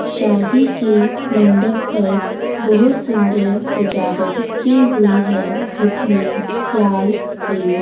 शादी के मंडक पर बहोत सुंदर सजावट की हुई है जिसमें लाल सफेद --